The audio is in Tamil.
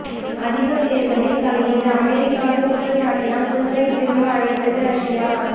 அதிபர் தேர்தலில் தலையீடு அமெரிக்காவின் குற்றச்சாட்டினால் தூதரை திரும்ப அழைத்தது ரஷ்யா